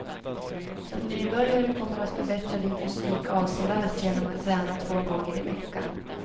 Som nybörjare kommer du att förbättra din fysik avsevärt genom att träna två gånger i veckan.